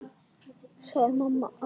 sagði mamma alltaf.